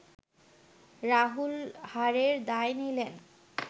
রাহুল হারের দায় নিলেন